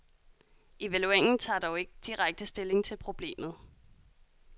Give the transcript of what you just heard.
Evalueringen tager dog ikke direkte stilling til problemet.